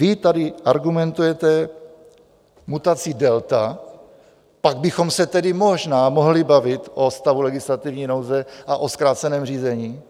Vy tady argumentujete mutací delta, pak bychom se tedy možná mohli bavit o stavu legislativní nouze a o zkráceném řízení,